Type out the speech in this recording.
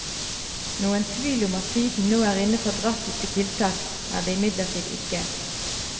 Noen tvil om at tiden nå er inne for drastiske tiltak, er det imidlertid ikke.